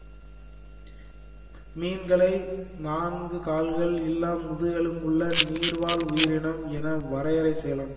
மீன்களை நான்கு கால்கள் இல்லா முதுகெலும்புள்ள நீர் வாழ் உயிரினம் என வரையறை செய்யலாம்